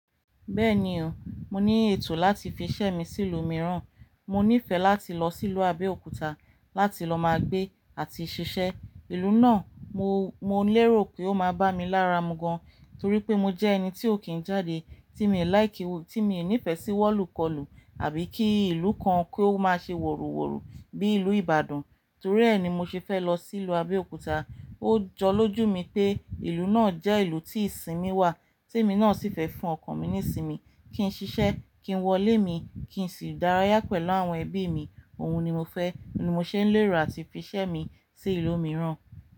Bẹ́ẹ̀ni o, mo ní ètò láti fi ṣẹ́ mi sí ìlú mìíràn, mo nífẹ̀ẹ́ láti lọ sí ìlú Abẹ́òkúta láti lọ máa gbé àti ṣiṣẹ́. Ìlú náà mo, mo lérò pé ó máa bá mi lára mu gan, torí pé mo jẹ́ ẹni tí ó kì í jáde, tí mi ò like, tí mi nífẹ̀ẹ́ sí wọ̀lùkọlù àbí kí ìlú kan kí ó máa ṣe woru woru bí ìlú Ìbàdàn. Torí ẹ́ ni mo ṣe fẹ́ lọ sí ìlú Abẹ́òkúta. Ó jọ lójú mi pé ìlú náà jẹ́ ìlú tí ìsinmi wà, tí emi náà sì fẹ́ fún ọkàn mi ní ìsinmi, kí n ṣiṣẹ́, kí n wọlé mi, kí n sì dárayá pẹ̀lú àwọn ẹbí mi. Òun ni mo fẹ́, ni mo ṣe ń lérò àti fi ṣẹ́ mi sí ìlú mìíràn.